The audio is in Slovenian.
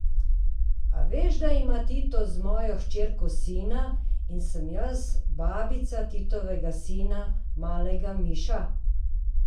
A veš, da ima Tito z mojo hčerko sina in sem jaz babica Titovega sina, malega Miša?